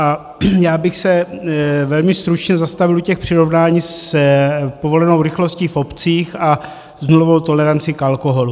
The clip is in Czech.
A já bych se velmi stručně zastavil u těch přirovnání s povolenou rychlostí v obcích a s nulovou tolerancí k alkoholu.